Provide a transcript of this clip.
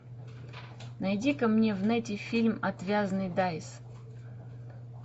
найди ка мне в нете фильм отвязный дайс